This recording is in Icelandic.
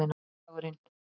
sunnudagurinn